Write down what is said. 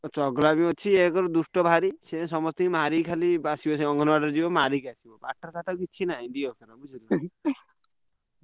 ଚଗଲାମୀ ଅଛି ଏକରେ ଦୁଷ୍ଟ ଭାରି ସିଏ ଖାଲି ମାରି ମାରିଅଙ୍ଗନବାଡି ଯିବ ମାରିକି ଆସିବ ପାଠଶାଠ କିଛି ନାହିଁ। ।